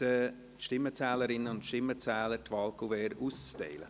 Ich bitte die Stimmenzählerinnen und Stimmenzähler, die Wahlkuverts auszuteilen.